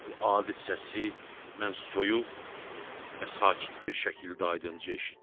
Bu adi səsi mən soyuq və sakit bir şəkildə aydınca eşitdim.